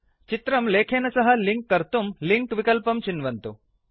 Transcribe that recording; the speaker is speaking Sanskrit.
चित्रं लेखेन सह लिंक् कर्तुम् लिंक विकल्पं चिन्वन्तु